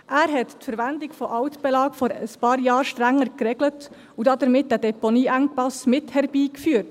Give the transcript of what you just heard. – Er hat die Verwendung von Altbelägen vor ein paar Jahren strenger geregelt und damit den Deponieengpass mit herbeigeführt.